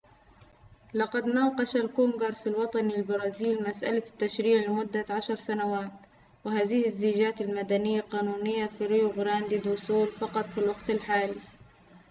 لقد ناقش الكونغرس الوطني للبرازيل مسألة التشريع لمدة عشر سنوات وهذه الزيجات المدنية قانونية في ريو غراندي دو سول فقط في الوقت الحالي